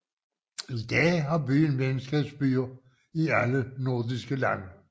I dag har byen venskabsbyer i alle nordiske lande